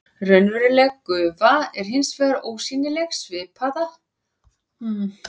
Raunveruleg gufa er hins vegar ósýnileg svipað og sama magn af venjulegu andrúmslofti.